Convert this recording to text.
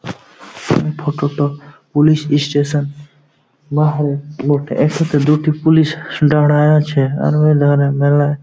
এই ফটোটা police station তোলা হয় বটে এটোতে দুটি পুলিশ দাঁড়ায়ে আছে আর ওধারে মেলাই --